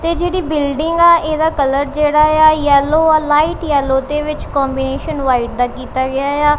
ਤੇ ਜਿਹੜੀ ਬਿਲਡਿੰਗ ਆ ਇਹਦਾ ਕਲਰ ਜਿਹੜਾ ਏ ਆ ਯੇਲ਼ੋ ਔਰ ਲਾਈਟ ਯੈਲੋ ਤੇ ਵਿੱਚ ਕੋਂਬੀਨੇਸ਼ਨ ਵਾਈਟ ਦਾ ਕੀਤਾ ਗਿਆ ਏ ਆ।